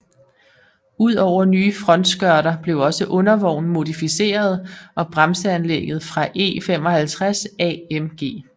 Ud over nye frontskørter blev også undervognen modificeret og bremseanlægget fra E 55 AMG